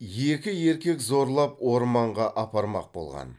екі еркек зорлап орманға апармақ болған